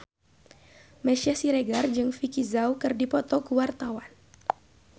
Meisya Siregar jeung Vicki Zao keur dipoto ku wartawan